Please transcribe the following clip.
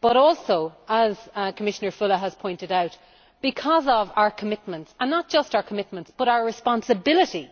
but also, as Commissioner Füle has pointed out, because of our commitments, and not just our commitments, but our responsibility